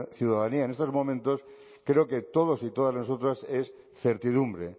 ciudadanía en estos momentos creo que todos y todas nosotros es certidumbre